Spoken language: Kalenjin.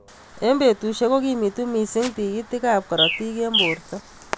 Eng betushek kokimitu missing tikitik ab karotik eng borto.